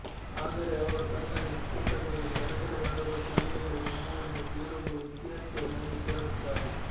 ಆದರೆ ಅವರು ತನ್ನದೇ ಸ್ಕೂಟರ್ ಏರಿ ಗಡ ಗಡ ನಡುಗುವ ಚಳಿಯಲ್ಲೇ ನಿಮ್ಮೂರಿನ ಬೇರೊಬ್ಬ ವಿದ್ಯಾರ್ಥಿಯ ಮನೆಗೆ ತೆರಳುತ್ತಾರೆ